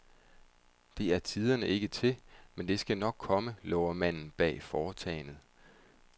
Det er tiderne ikke til, men det skal nok komme, lover manden bag foretagendet.